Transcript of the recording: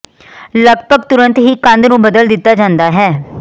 ਲਗਪਗ ਤੁਰੰਤ ਹੀ ਕੰਧ ਨੂੰ ਬਦਲ ਦਿੱਤਾ ਜਾਂਦਾ ਹੈ